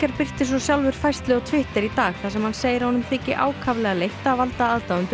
birti svo sjálfur færslu á Twitter í dag þar sem hann segir að honum þyki ákaflega leitt að valda aðdáendum